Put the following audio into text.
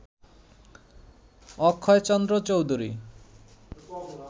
Akshaychandra Chowdhury